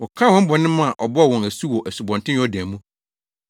Wɔkaa wɔn bɔne ma ɔbɔɔ wɔn asu wɔ Asubɔnten Yordan mu.